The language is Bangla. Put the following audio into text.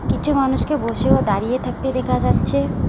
কিছু মানুষকে বসে ও দাঁড়িয়ে থাকতে দেখা যাচ্ছে।